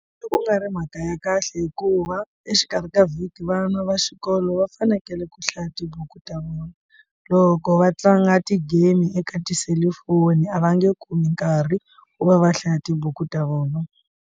Loko ku nga ri mhaka ya kahle hikuva exikarhi ka vhiki vana va xikolo va fanekele ku hlaya tibuku ta vona loko va tlanga ti game eka tiselifoni a va nge kumi nkarhi ku va va hlaya tibuku ta vona.